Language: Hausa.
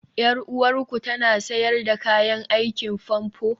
Yar uwarku tana sayar da kayan aikin famfo?